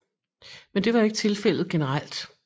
Men det var ikke tilfældet generelt